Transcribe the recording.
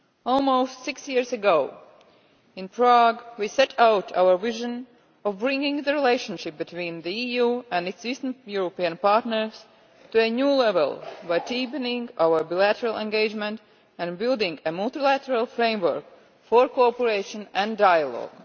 Almost six years ago in Prague, we set out our vision of bringing the relationship between the EU and its Eastern European partners to a new level by deepening our bilateral engagement and building a multilateral framework for cooperation and dialogue.